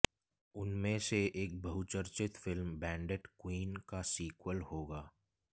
उनमें से एक बहुचर्चित फिल्म बैंडिट क्वीन का सीक्वल होगा